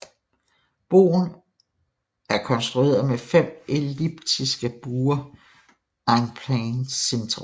Broen er konstrueret med fem elliptiske buer en plein cintre